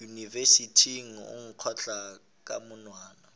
yunibesithing o nkgotla ka monwana